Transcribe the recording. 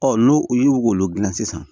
n'o y'olu dilan sisan